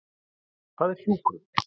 Hvað er hjúkrun?